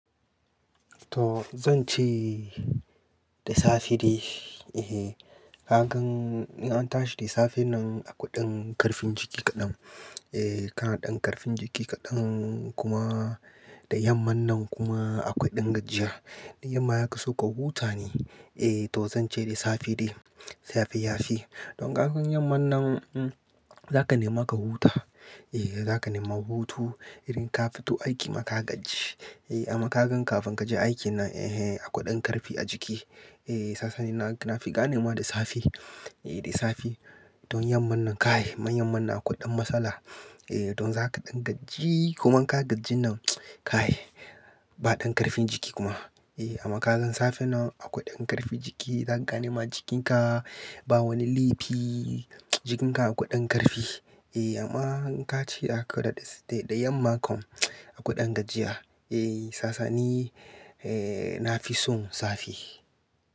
To zan ce, da safe dai. Eh, ka gan in an tashi da safen nan akwai ɗan karfin jiki kaɗan, Eh, ka naɗan ƙarfin jiki kaɗan, kuma da yamman nan kuma akwai ɗan gajiya. Yamma ya kaso ka huta ne. Eh to zan ce da safe dai, safe yafi. Don ka gan yamman nan, hmmm zaka nema ka huta, Eh, zaka nema hutu, irin ka fito aiki ma ka gaji. Eh, amma ka gan kafin kaje aikin nan, eh hen, akwai ɗan ƙarfi a jiki, Eh, sasa ni na fi ganema da safe. Eh da safe. Don yamman nan kai, man yamman nan akwai ɗan matsala. Eh, don zaka ɗan gajii, kuma in ka gajin nan, kai, ba ɗan ƙarfin jiki kuma. Eh, amma ka gan safen nan, akwai ɗan ƙarfin jiki, zaka ganema jikinka, ba wani laifi, jikinka akwai ɗan ƙarfi. Eh amma in ka ci akwai da yamma kom, akwai ɗan gajiya. Eh, sasani, eh na fi son safe,